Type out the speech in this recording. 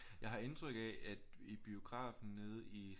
Jeg har indtryk af at i biografen nede i